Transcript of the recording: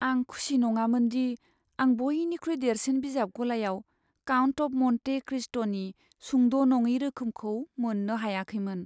आं खुसि नङामोन दि आं बयनिख्रुइ देरसिन बिजाब गलायाव "काउन्ट अफ मन्टे क्रिस्ट"नि सुंद' नङि रोखोमखौ मोननो हायाखैमोन।